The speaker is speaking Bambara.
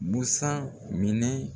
Busan minɛn